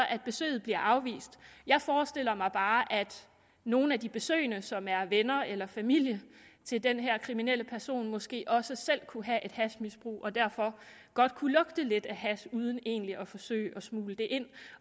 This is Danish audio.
at besøget bliver afvist jeg forestiller mig bare at nogle af de besøgende som er venner eller familie til den her kriminelle person måske også selv kunne have et hashmisbrug og derfor godt kunne lugte lidt af hash uden egentlig at forsøge at smugle det ind